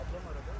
Apardı.